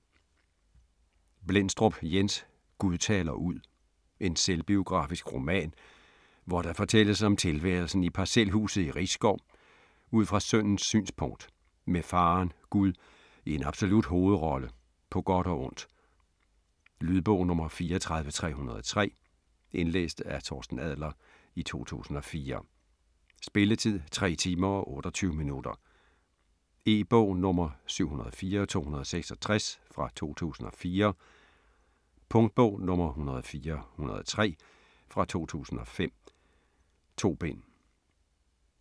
Blendstrup, Jens: Gud taler ud En selvbiografisk roman, hvor der fortælles om tilværelsen i parcelhuset i Risskov ud fra sønnens synspunkt, med faderen, Gud, i en absolut hovedrolle, på godt og ondt. Lydbog 34303 Indlæst af Torsten Adler, 2004. Spilletid: 3 timer, 28 minutter. E-bog 704266 2004. Punktbog 104103 2005. 2 bind.